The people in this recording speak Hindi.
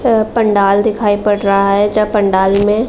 प पंडाल दिखाई पड़ रहा है जहा पंडाल में --